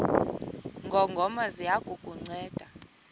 ngongoma ziya kukunceda